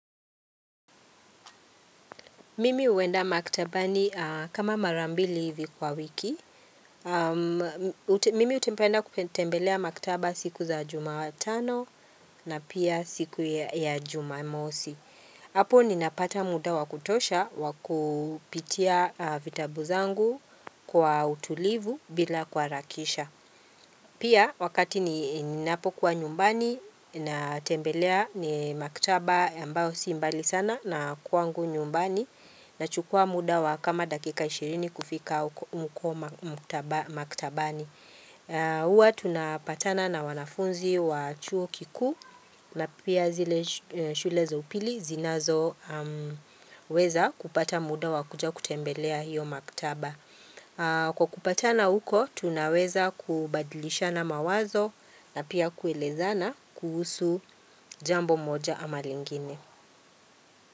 Mimi huenda maktabani kama mara mbili hivi kwa wiki. Mimi hupenda kutembelea maktaba siku za jumatano na pia siku ya jumamosi. Hapo ninapata muda wa kutosha wakupitia vitabu zangu kwa utulivu bila kuharakisha. Pia wakati ninapokuwa nyumbani, natembelea ni maktaba ambao si mbali sana na kwangu nyumbani. Nachukua muda wa kama dakika 20 kufika huko maktabani. Huwa tunapatana na wanafunzi wa chuo kikuu na pia zile shule za upili zinazoweza kupata muda wa kuja kutembelea hiyo maktaba. Kwa kupatana huko, tunaweza kubadilishana mawazo na pia kuelezana kuhusu jambo moja ama lingine.